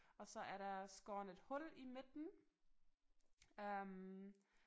Og så er der skåren et hul i midten øh